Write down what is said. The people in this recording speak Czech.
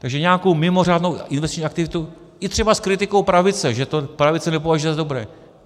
Takže nějakou mimořádnou investiční aktivitu i třeba s kritikou pravice, že to pravice nepovažuje za dobré.